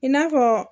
I n'a fɔ